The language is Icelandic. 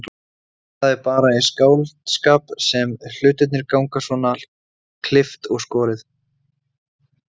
En það er bara í skáldskap sem hlutirnir ganga svona klippt og skorið.